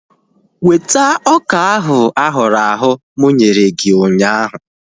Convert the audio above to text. Weta ọka ahu ahụrụ ahụ̀ mụ nyere gị ụnyaahụ!